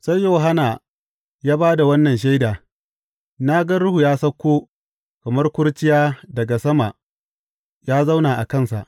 Sai Yohanna ya ba da wannan shaida, Na ga Ruhu ya sauko kamar kurciya daga sama ya zauna a kansa.